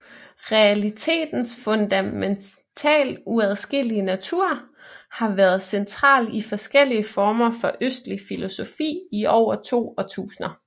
Realitetens fundamentalt uadskillelige natur har været central i forskellige former for østlig filosofi i over to årtusinder